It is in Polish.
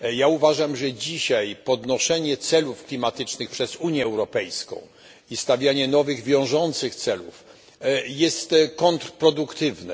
Uważam, że obecne podnoszenie celów klimatycznych przez Unię Europejską oraz wyznaczanie nowych wiążących celów jest kontrproduktywne.